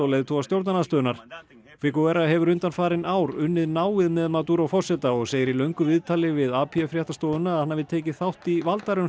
leiðtoga stjórnarandstöðunnar hefur undanfarin ár unnið náið með Maduro forseta og segir í löngu viðtali við fréttastofuna að hann hafi tekið þátt í